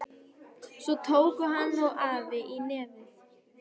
Svo tóku hann og afi í nefið.